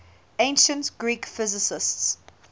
ancient greek physicists